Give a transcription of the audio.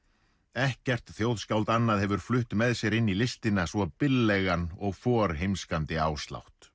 ekkert þjóðskáld annað hefur flutt með sér inn í listina svo billegan og forheimskandi